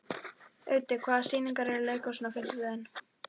Auddi, hvaða sýningar eru í leikhúsinu á fimmtudaginn?